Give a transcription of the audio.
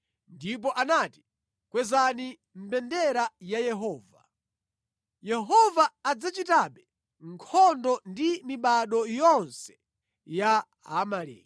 Ndipo anati, “Kwezani mbendera ya Yehova. Yehova adzachitabe nkhondo ndi mibado yonse ya Aamaleki.”